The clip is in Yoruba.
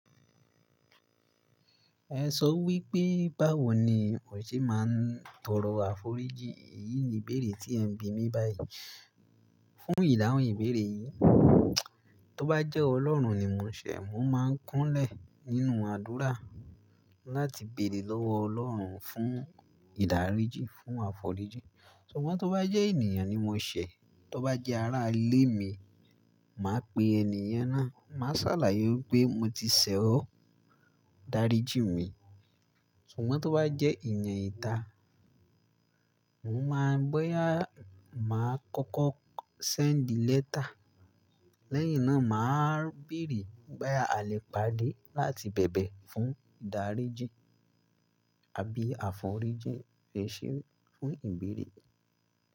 Ẹ sọ wí pé báwo ni mo ṣe máa ń tọrọ àforíjì? Èyí ni ìbéèrè tí ẹ̀ ń bi mí báyìí. Fún ìdáhùn ìbéèrè yìí, tó bá jẹ́ Ọlọ́run ni mò ṣẹ̀, mò máa ń kúnlẹ̀ nínú àdúrà láti béèrè lọ́wọ́ Ọlọ́run fún ìdáríjì, fún àforíjì. Ṣùgbọ́n tó bá jẹ́ ènìyàn ni mò ṣẹ̀, tó bá jẹ́ ará ilé mi, màá pe ẹni yẹn náà, màá sàlàyé pé mo ti ṣẹ̀ ọ́, dáríjì mi. Ṣùgbọ́n tó bá jẹ́ èèyàn ìta, mò máa bóyà, màá kọ́kọ́ send letter. Lẹ́yìn náà, màá béèrè bóyá alè pade láti bẹ̀bẹ̀ fún ìdáríjì àbí àforíjì ẹṣeun fún ìbéèrè.